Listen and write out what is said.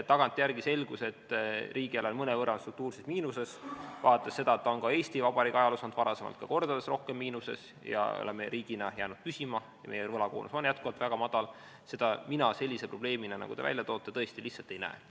Tagantjärele selgus, et riigieelarve on mõnevõrra struktuurses miinuses, aga vaadates seda, et Eesti Vabariigi ajaloos on see varem olnud mitu korda suuremas miinuses ja me oleme riigina jäänud püsima ning meie võlakoormus on jätkuvalt väga madal, mina seda sellise probleemina, nagu te välja toote, tõesti lihtsalt ei näe.